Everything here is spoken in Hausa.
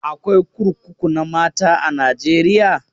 Akwai kurkuku na mata a Najeriya?